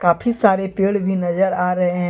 काफी सारे पेड़ भी नजर आ रहे हैं।